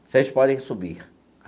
Vocês podem subir.